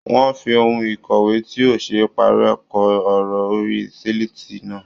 Wọ́n fi ohun ìkọ̀wé tí ò ṣe é párẹ́ kọ ọ̀rọ̀ orí sílètì náà.